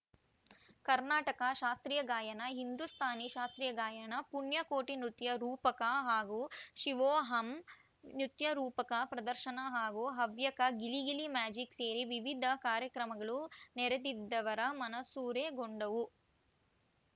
ಕರ್ನಾಟಕ ಶಾಸ್ತ್ರೀಯ ಗಾಯನ ಹಿಂದೂಸ್ತಾನಿ ಶಾಸ್ತ್ರೀಯ ಗಾಯನ ಪುಣ್ಯ ಕೋಟಿ ನೃತ್ಯ ರೂಪಕ ಹಾಗೂ ಶಿವೋಹಂ ನೃತ್ಯರೂಪಕ ಪ್ರದರ್ಶನ ಹಾಗೂ ಹವ್ಯಕ ಗಿಲಿಗಿಲಿ ಮ್ಯಾಜಿಕ್‌ ಸೇರಿ ವಿವಿಧ ಕಾರ್ಯಕ್ರಮಗಳು ನೆರೆದಿದ್ದವರ ಮನಸೂರೆಗೊಂಡವು